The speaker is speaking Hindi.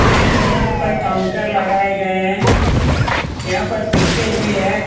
इस सैलून पर काउंटर लगाए गए हैं यहां पर शीशे भी हैं।